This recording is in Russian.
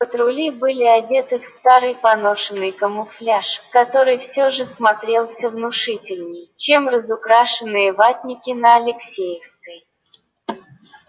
патрули были одеты в старый поношенный камуфляж который все же смотрелся внушительней чем разукрашенные ватники на алексеевской